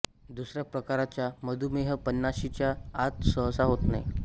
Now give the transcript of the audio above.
दुसऱ्या प्रकारचा मधुमेह पन्नाशीच्या आत सहसा होत नाही